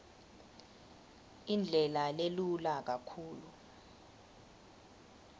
indlela lelula kakhulu